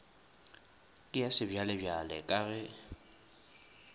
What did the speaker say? ke ya sebjalebjale ka ge